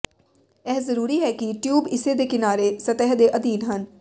ਇਹ ਜ਼ਰੂਰੀ ਹੈ ਕਿ ਟਿਊਬ ਇਸ ਦੇ ਕਿਨਾਰੇ ਸਤਹ ਦੇ ਅਧੀਨ ਹਨ